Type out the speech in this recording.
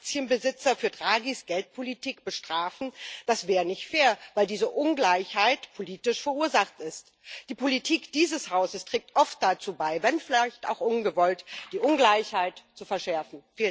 Soll man Aktienbesitzer für Draghis Geldpolitik bestrafen? Das wäre nicht fair, weil diese Ungleichheit politisch verursacht ist. Die Politik dieses Hauses trägt oft dazu bei, wenn vielleicht auch ungewollt, die Ungleichheit zu verschärfen.